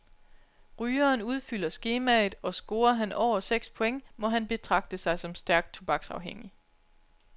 Rygeren udfylder skemaet, og scorer han over seks point, må han betragte sig som stærkt tobaksafhængig.